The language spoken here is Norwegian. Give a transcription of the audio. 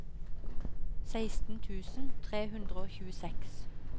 seksten tusen tre hundre og tjueseks